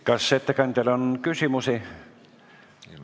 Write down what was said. Kas ettekandjale on küsimusi?